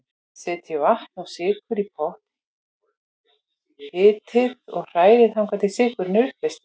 Setjið vatn og sykur í pott, hitið og hrærið þangað til sykurinn er uppleystur.